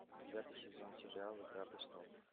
девятый сезон сериал игра престолов